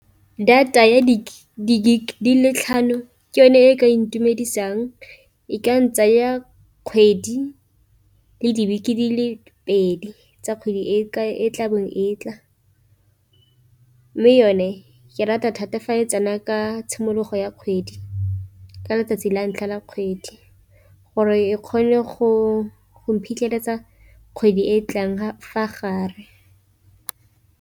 Data ya di- gig le tlhano ke yone e ka ntumedisang, e ka ntsaya kgwedi le dibeke di le pedi tsa kgwedi e tla bong e tla. Mme yone ke rata thata fa tsena ka tshimologo ya kgwedi, ka letsatsi la ntlha la kgwedi gore e kgone go mphitlheletsa kgwedi e e tlang fa gare.